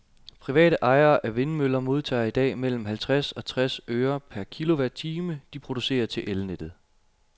Private ejere af vindmøller modtager i dag mellem halvtreds og tres øre per kilowatt-time, de producerer til elnettet.